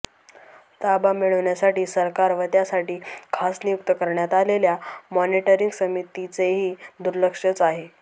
ताबा मिळण्यासाठी सरकार व त्यासाठी खास नियुक्त करण्यात आलेल्या मॉनेटरिंग समितीचेही दुर्लक्षच आहे